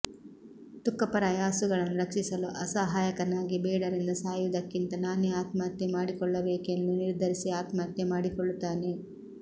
ತುಕ್ಕಪ್ಪರಾಯ ಹಸುಗಳನ್ನು ರಕ್ಷಿಸಲು ಅಸಹಾಯಕನಾಗಿ ಬೇಡರಿಂದ ಸಾಯುವುದಕ್ಕಿಂತ ನಾನೆ ಆತ್ಮಹತ್ಯೆ ಮಾಡಿಕೊಳ್ಳಬೇಕೆಂದು ನಿರ್ಧರಿಸಿ ಆತ್ಮಹತ್ಯೆ ಮಾಡಿಕೊಳ್ಳುತ್ತಾನೆ